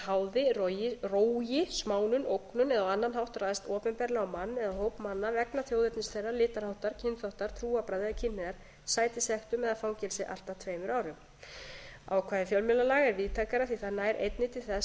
háði rógi smánun ógnun eða á annan hátt ræðst opinberlega á mann eða hóp manna vegna þjóðernis þeirra litarháttar kynþáttar trúarbragða eða kynhneigðar sæti sektum eða fangelsi allt að tveimur árum ákvæði fjölmiðlalaga er víðtækara því að það nær einnig til þess